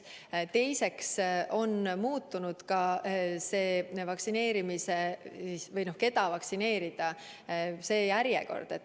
Teiseks on muutunud ka järjekord, keda vaktsineerida.